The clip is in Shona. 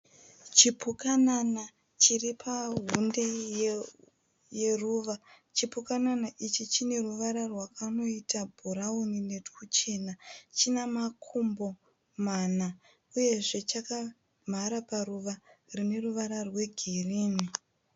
Chipukanana chiripahunde raruva, chipukanana ichi chineruvara rwakanoita bhurauni netwuchena, chanamakumbo mana uyezve chakamhara paruvara rineruvara rwegirini.